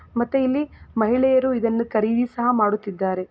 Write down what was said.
ಮತ್ತೆ ಇಲ್ಲಿ ಮಹಿಳೆಯರು ಇದನ್ನು ಖರೀದಿ ಸಹ ಮಾಡುತ್ತಿದ್ದಾರೆ.